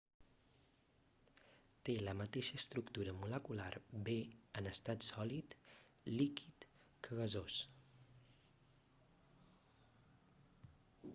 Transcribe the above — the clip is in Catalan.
té la mateixa estructura molecular bé en estat sòlid líquid que gasós